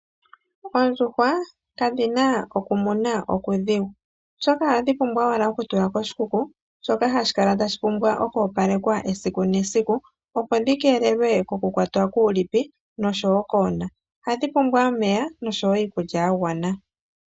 Oondjuhwa kadhi na okumuna okudhigu, oshoka ohadhi pumbwa owala okutula koshikuku, shoka hashi kala tashi pumbwa okwoopalekwa esiku nesiku, opo dhi keelelwe kokukwatwa kuulipi nosho wo koona. Ohadhi pumbwa omeya, nosho wo iikulya ya gwana.